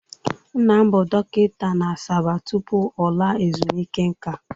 Nna m bụ dọkịta na Asaba tupu ọ laa ezumike nka.